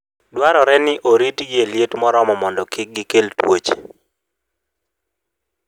Dwarore ni oritgi e liet moromo mondo kik gikel tuoche.